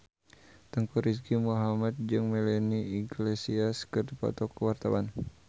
Teuku Rizky Muhammad jeung Melanie Iglesias keur dipoto ku wartawan